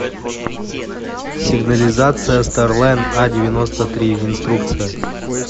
сигнализация старлайн а девяносто три инструкция